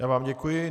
Já vám děkuji.